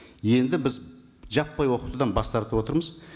енді біз жаппай оқытудан бас тартып отырмыз